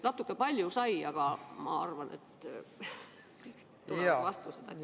Natuke palju sai, aga ma arvan, et tuleb hea vastus.